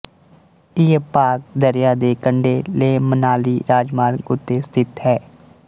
ਇਹ ਭਾਗ ਦਰਿਆ ਦੇ ਕੰਢੇ ਲੇਹਮਨਾਲੀ ਰਾਜਮਾਰਗ ਉੱਤੇ ਸਥਿਤ ਹੈ